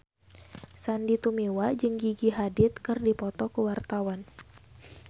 Sandy Tumiwa jeung Gigi Hadid keur dipoto ku wartawan